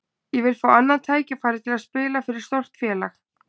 Ég vil fá annað tækifæri til að spila fyrir stórt félag.